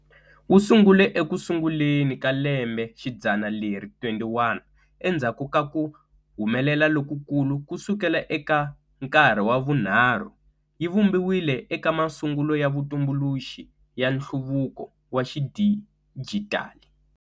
Wu sungule eku sunguleni ka lembexidzana leri21, endzhaku ka ku humelela lokukulu ku sukela eka nkarhi wa vunharhu, yi vumbiwile eka masungulo ya vutumbuluxi ya nhluvuko wa xidijitali.